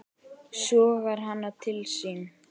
Sogar hana til sín.